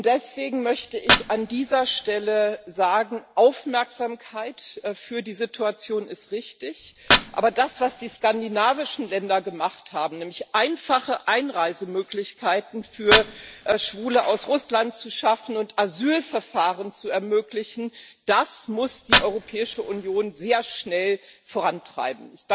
Deswegen möchte ich an dieser Stelle sagen Aufmerksamkeit für die Situation ist richtig, aber das, was die skandinavischen Länder gemacht haben, nämlich einfache Einreisemöglichkeiten für Schwule aus Russland zu schaffen und Asylverfahren zu ermöglichen, das muss die Europäische Union sehr schnell vorantreiben.